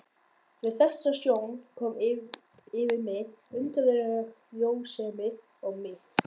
Við þessa sjón kom yfir mig undarleg rósemi og mýkt.